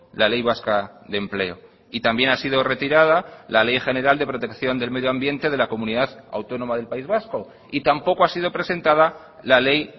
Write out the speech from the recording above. la ley vasca de empleo y también ha sido retirada la ley general de protección del medioambiente de la comunidad autónoma del país vasco y tampoco ha sido presentada la ley